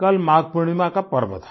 कल माघ पूर्णिमा का पर्व था